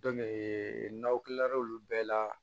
n'aw kila l'o bɛɛ la